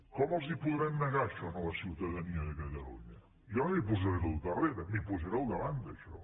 com els ho podrem negar això a la ciutadania de catalunya jo no m’hi posaré al darrere m’hi posaré al davant d’això